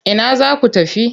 Ina za ku tafi?